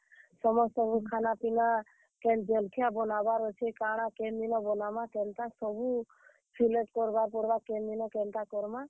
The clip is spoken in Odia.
ସମସ୍ତଙ୍କୁ ଖାନା, ପିନା କେନ୍ ଜଲ୍ ଖିଆ ବନାବାର୍ ଅଛେ, କାଣା କେନ୍ ଦିନ ବନାମା, କେନ୍ତା ସବୁ select କରବାର୍ ପଡ୍ ବା କେନ୍, ଦିନ କେନ୍ତା କର୍ ମା।